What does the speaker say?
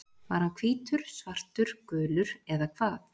Var hann hvítur, svartur, gulur eða hvað?